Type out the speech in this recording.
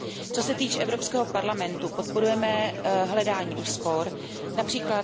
Co se týče Evropského parlamentu, podporujeme hledání úspor, např.